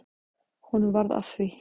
Honum varð að því.